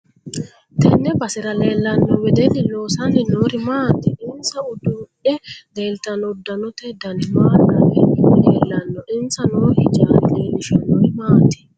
Tenne basera leelanno wedeli loosani noori maati insa uddidhe leeltanno uddanote dani maa lawe leelanno insa noo hijaari leelishanori maati